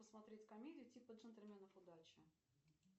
посмотреть комедию типа джентельменов удачи